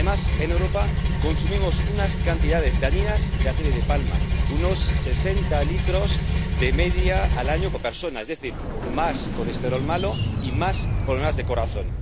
Además, en Europa, consumimos unas cantidades dañinas de aceite de palma unos sesenta litros de media al año por persona, es decir, más colesterol malo y más problemas de corazón.